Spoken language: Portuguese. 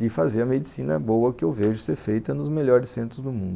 e fazer a medicina boa que eu vejo ser feita nos melhores centros do mundo.